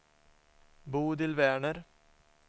Bodil Werner